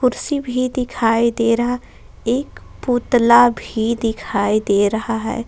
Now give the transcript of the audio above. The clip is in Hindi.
कुर्सी भी दिखाई दे रहा एक पुतला भी दिखाई दे रहा है।